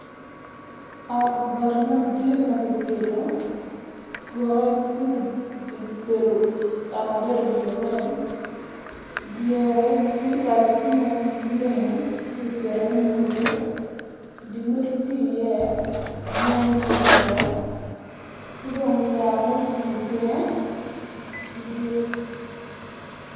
Ot bati madit ma kigeto tye ki dodo ot adoda i wi lawote dye dikal tye ma leng kipito iye modo dyemwodo tye iye yen ma kipito ki dong yat mucung i teng madit.